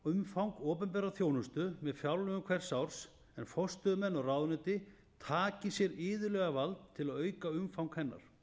umfang opinberrar þjónustu við fjárlögum hvers árs en forstöðumenn og ráðuneyti taki sér iðulega vald til að auka umfang hennar